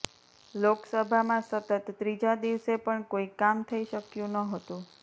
લોકસભામાં સતત ત્રીજા દિવસે પણ કોઈ કામ થઈ શક્યું નહોતું